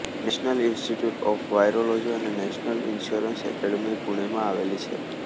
national institute of virology અને national insurance academy પુણેમાં આવેલી છે